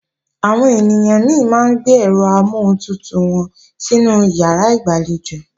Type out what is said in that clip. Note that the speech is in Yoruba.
Àwọn ènìyàn mi máa ń gbé ẹ̀rọ amọ́huntutù wọn sínú ìyàrá ìgbàlejò